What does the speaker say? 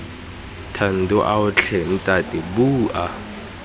thando ao tlhe ntate bua